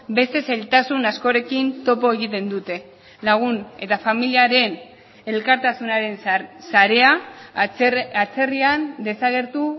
beste zailtasun askorekin topo egiten dute lagun eta familiaren elkartasunaren sarea atzerrian desagertu